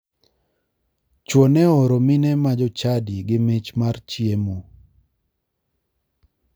Chuo ne ooro mine ma jochadi gi mich mar chiemo.